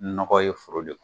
Nɔgɔ ye o de ye.